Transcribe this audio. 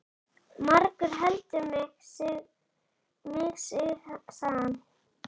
Margur heldur mig sig, sagði hann.